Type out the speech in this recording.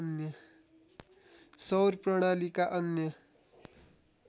सौर प्रणालीका अन्य